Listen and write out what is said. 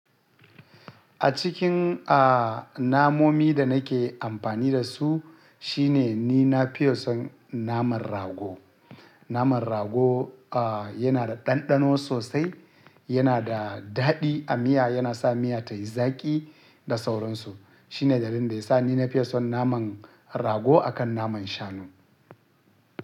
A cikin, a, namomin da nake amfani da su shine ni na fi son naman rago. Naman rago, a, yana da ɗanɗano sosai, yana da daɗi a miya, yana sa miya tayi zaƙi da sauransu. Shine dalilin da yasa ni nafi son naman rago akan naman shanu.